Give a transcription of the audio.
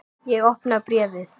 Ég opna bréfið.